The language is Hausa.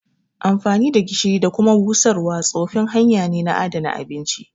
Amfani da gishiri da kuma busarwa tsofin hanya ne na adana abinci